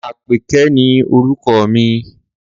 Àpèké ni orúkọ mi.